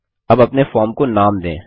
अब अपने फॉर्म को नाम दें